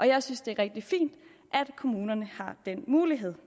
jeg synes det er rigtig fint at kommunerne har den mulighed